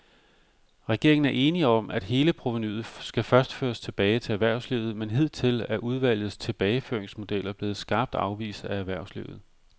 Regeringen er enig om, at hele provenuet skal føres tilbage til erhvervslivet, men hidtil er udvalgets tilbageføringsmodeller blevet skarpt afvist af erhvervslivet.